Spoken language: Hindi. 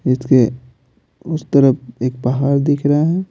इसके उस तरफ एक पहाड़ दिख रहा है।